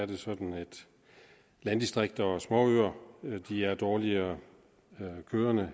det sådan at landdistrikter og små øer er dårligere kørende